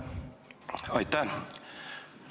Aitäh!